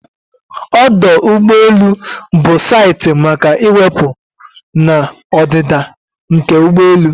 Ọdụ ụgbọ elu bụ saịtị maka iwepụ na ọdịda nke ụgbọelu